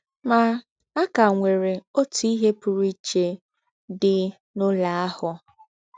Ma, a ka nwere ọtụ ihe pụrụ iche dị n’ụlọ ahụ.